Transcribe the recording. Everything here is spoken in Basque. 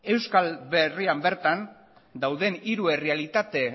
euskal herrian bertan dauden hiru errealitate